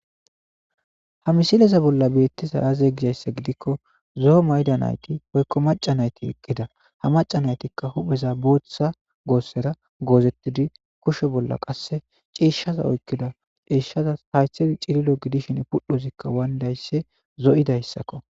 Ha misileza bolla beettiza aaze gizayssa gidikko zoo maydanayti hoykko maca nayti eqqida ha maca naytikka hupheza booththa goossera goozettidi kushe bolla qasse cieshshaza oykkida ciishshaza haythei cililo gidishin puddhozikka wayndaysse zo'idayssakko.